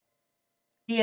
DR2